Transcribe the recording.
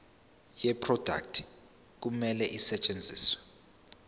yeproduct kumele isetshenziswe